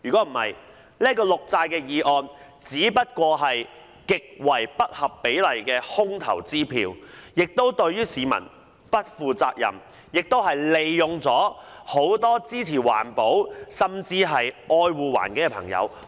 否則，這項綠債決議案只是一張極為不合比例的空頭支票，對市民不負責任，也利用了很多支持環保、愛護環境的朋友。